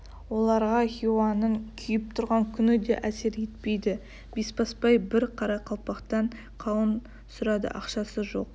оларға хиуаның күйіп тұрған күні де әсер етпейді бесбасбай бір қарақалпақтан қауын сұрады ақшасы жоқ